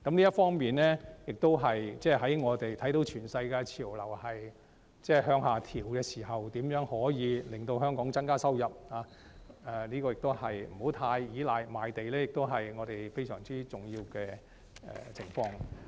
這方面，我們看到全世界的潮流是向下調整時，如何令香港增加收入，而不要過於依賴賣地，也是我們非常重要的課題。